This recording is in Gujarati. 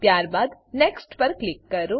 ત્યારબાદ નેક્સ્ટ નેક્સ્ટ પર ક્લિક કરો